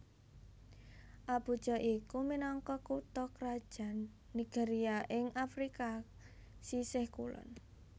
Abuja iku minangka kutha krajan Nigeria ing Afrika sisih kulon